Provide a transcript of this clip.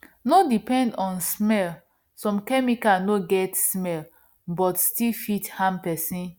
no depend on smell some chemical no no get smell but still fit harm person